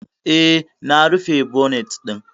E, na rufe bonet ɗin.